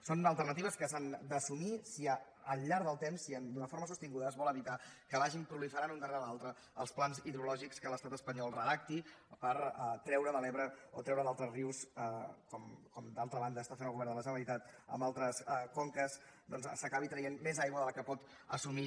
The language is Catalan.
són alternatives que s’han d’assumir si al llarg del temps si d’una forma sostinguda es vol evitar que vagin proliferant l’un darrere l’altre els plans hidrològics que l’estat espanyol redacti per treure de l’ebre o treure d’altres rius com d’altra banda fa el govern de la generalitat en altres conques més aigua de la que pot assumir